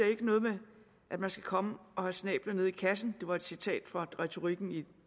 er noget med at man skal komme og få snabelen ned i kassen det var et citat fra retorikken i den